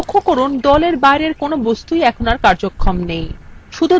লক্ষ্য করুন দলএর বাইরের কোনো বস্তুরই এখন কার্যক্ষম নেই